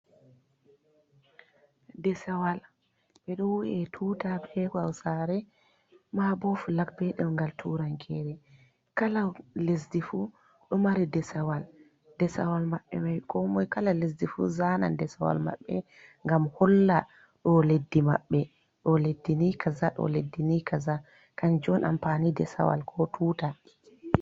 Desawal, ɓe ɗon wi'a tuta bee Hawsaare maa boo flag bee ɗemngal Tuurankore kala lesdi fuu ɗo mari Desawal, Desawal maɓɓe man ko moy kala lesdi fuu zanan Desawal maɓɓe ngam holla ɗo leddi maɓbeɗo leddi nii kaza ɗo leddi nii kaza kanjum on amfani Desawal ko tuta